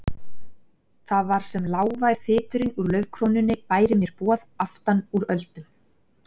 Það var sem lágvær þyturinn úr laufkrónunni bæri mér boð aftanúr öldum.